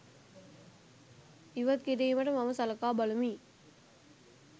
ඉවත් කිරීමට මම සලකා බලමි